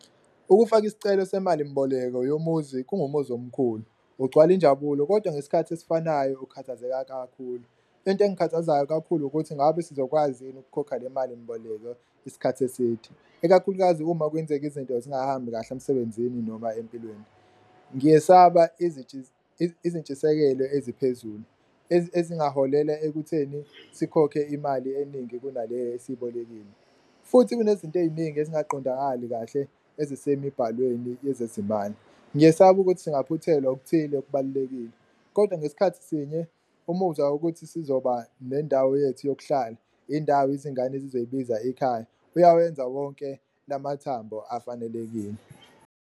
Ukufaka isicelo semali mboleko yomuzi kungumuzi omkhulu, ugcwala injabulo kodwa ngesikhathi esifanayo ukukhathazeka kakhulu, into engikhathazayo kakhulu ukuthi ngabe sizokwazi yini ukukhokha le mali mboleko isikhathi eside, ikakhulukazi uma kwenzeka izinto zingahambi kahle emsebenzini noma empilweni. Ngiyesaba izintshisekelo eziphezulu ezingaholela ekutheni sikhokhe imali eningi kunale esiyibolekile futhi kunezinto ey'ningi ezingaqondakali kahle esemibhalweni yezezimali, ngiyesaba ukuthi singaphuthelwa okuthile okubalulekile. Kodwa ngesikhathi sinye umuzwa wokuthi sizoba nendawo yethu yokuhlala, indawo izingane ezizoyibiza ikhaya, uyawenza wonke lamathambo afanelekile.